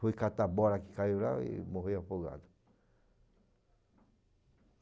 Foi catar a bola que caiu lá e morreu afogado.